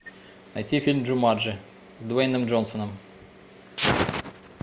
найти фильм джуманджи с дуэйном джонсоном